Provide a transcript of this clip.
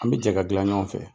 An bɛ jɛ k'a dilan ɲɔgɔn fɛ